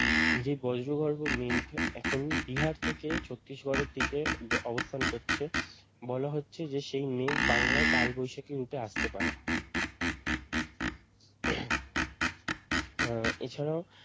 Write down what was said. যে বজ্রগর্ভ মেঘ এখন বিহার থেকে ছত্রিশগড় এর দিকে অবস্থান করছে বলা হচ্ছে সেই মেঘ বাংলায় কালবৈশাখী রূপে আসতে পারে উম এছাড়াও